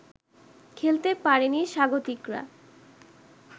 খেলতে পারেনি স্বাগতিকরা